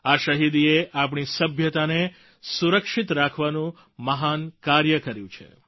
આ શહિદીએ આપણી સભ્યતાને સુરક્ષિત રાખવાનું મહાન કાર્ય કર્યું છે